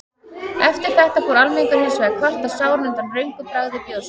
Eftir þetta fór almenningur hins vegar að kvarta sáran undan röngu bragði bjórsins.